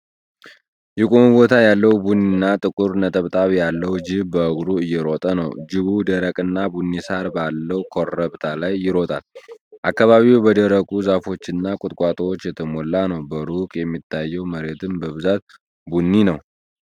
የቆመ ቦታ ያለው፣ ቡኒና ጥቁር ነጠብጣብ ያለው ጅብ በእግሩ እየሮጠ ነው። ጅቡ ደረቅና ቡኒ ሳር ባለው ኮረብታ ላይ ይሮጣል፤ አካባቢው በደረቁ ዛፎችና ቁጥቋጦዎች የተሞላ ነው። በሩቅ የሚታየው መሬትም በብዛት ቡኒ ነው።